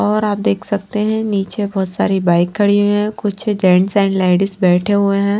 और आप देख सकते हैं नीचे बहुत सारी बाइक खड़ी हुई है कुछ जेंट्स एंड लेडीज बैठे हुए हैं।